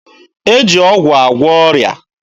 E ji ọgwụ agwọ ọrịa.